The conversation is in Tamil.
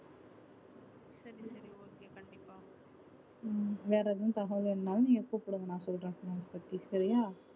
உம் வேற எதா தகவல் வேணுனாலும் நீங்க கூப்பிடுங்க நா சொல்ற அத பத்தி சரியா